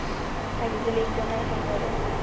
Það getur líka meira en verið.